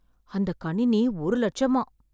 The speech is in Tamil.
அந்த கணினி ஒரு லட்சமா